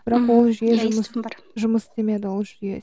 бірақ ол жүйе жұмыс істемеді ол жүйе